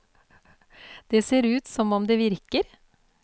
Det ser ut som om det virker.